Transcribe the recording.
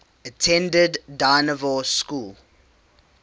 attended dynevor school